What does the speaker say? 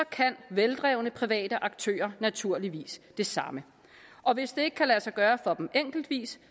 kan veldrevne private aktører naturligvis det samme og hvis det ikke kan lade sig gøre for dem enkeltevis